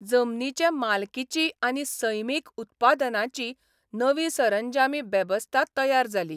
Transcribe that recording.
जमनीचे मालकीची आनी सैमिक उत्पादनाची नवी सरंजामी बेवस्था तयार जाली.